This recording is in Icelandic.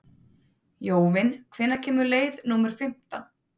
Jóvin, hvenær kemur leið númer fimmtán?